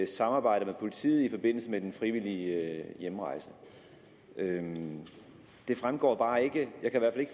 samarbejder med politiet i forbindelse med den frivillige hjemrejse det det fremgår bare ikke jeg kan